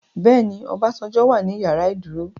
Bẹ́ẹ̀ni Obasanjo wà ní ìyàrá ìdúró.